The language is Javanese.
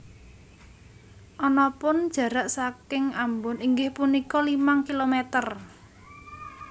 Anapun jarak sangking Ambon inggih punika limang kilometer